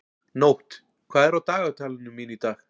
Nótt, hvað er á dagatalinu mínu í dag?